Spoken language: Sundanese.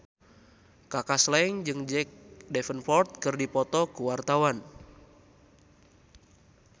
Kaka Slank jeung Jack Davenport keur dipoto ku wartawan